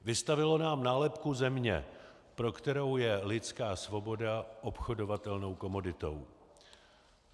Vystavilo nám nálepku země, pro kterou je lidská svoboda obchodovatelnou komoditou.